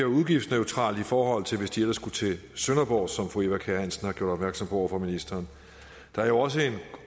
udgiftsneutralt i forhold til at de ellers skulle til sønderborg som fru eva kjer hansen har gjort opmærksom på over for ministeren der er jo også en